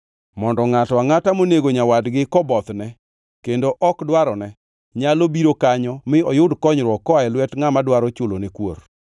mondo ngʼato angʼata monego nyawadgi kobothne kendo ok dwarone nyalo biro kanyo mi oyud konyruok koa e lwet ngʼama dwaro chulone kuor.